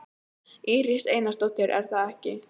Íris Einarsdóttir: Er það ekki?